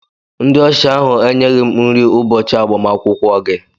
Ndị ọsha ahụ enyeghị m nri n'ụbọchị agbamakwụkwọ gị.